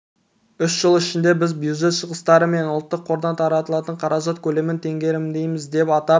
үш жыл ішінде біз бюджет шығыстары мен ұлттық қордан тартылатын қаражат көлемін теңгерімдейміз деп атап